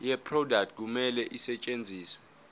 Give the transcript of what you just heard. yeproduct kumele isetshenziswe